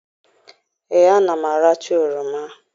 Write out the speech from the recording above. Ee, ana m aracha oroma.